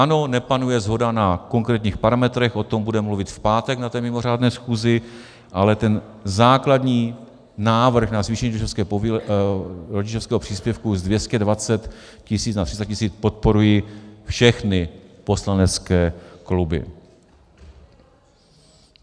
Ano, nepanuje shoda na konkrétních parametrech, o tom budeme mluvit v pátek na té mimořádné schůzi, ale ten základní návrh na zvýšení rodičovského příspěvku z 220 tisíc na 300 tisíc podporují všechny poslanecké kluby.